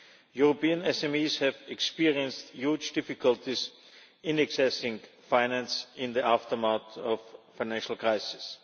European SMEs have experienced huge difficulties in accessing finance in the aftermath of the financial crisis.